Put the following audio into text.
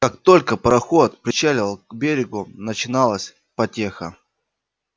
как только пароход причаливал к берегу начиналась потеха